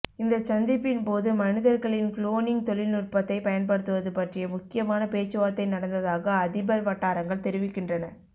இந்த சந்திப்பின்போது மனிதர்களில் குளோனிங் தொழில்நுட்பத்தை பயன்படுத்துவது பற்றிய முக்கியமான பேச்சுவார்த்தை நடந்தததாக அதிபர் வட்டாரங்கள் தெரிவிக்கின்றன